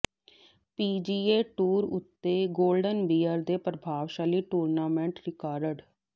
PGA tour ਉੱਤੇ golden bear ਦੇ ਪ੍ਰਭਾਵਸ਼ਾਲੀ ਟੂਰਨਾਮੈਂਟ ਰਿਕਾਰਡ